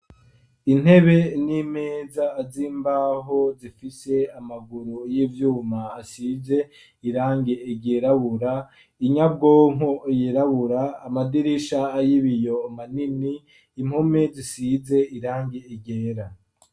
Intebe n'imeza azimbaho zifise amaguru y'ivyuma asize irange egerabura inyabwompo yirabura amadirisha a y'ibiyoma nini impome zisize irange egera.